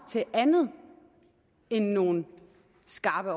til andet end nogle skarpe